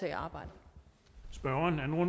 her